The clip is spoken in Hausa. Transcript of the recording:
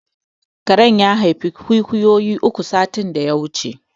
Karen ya haifi ƙwiƙwiyo uku satin da ya wuce